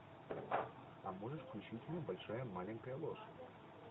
а можешь включить мне большая маленькая ложь